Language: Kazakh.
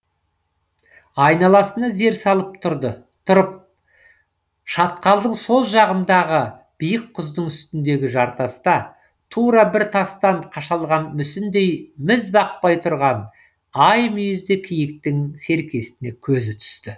айналасына зер салып тұрып шатқалдың сол жағындағы биік құздың үстіндегі жартаста тура бір тастан қашалған мүсіндей міз бақпай тұрған ай мүйізді киіктің серкесіне көзі түсті